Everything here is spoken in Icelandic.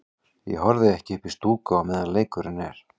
Ég horfi ekki upp í stúku á meðan leikurinn er.